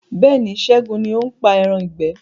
Bẹ́ẹ̀ni, Ṣẹgun ní o ń pa ẹran ìgbẹ́